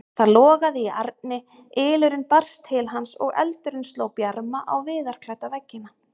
Það logaði í arni, ylurinn barst til hans og eldurinn sló bjarma á viðarklædda veggina.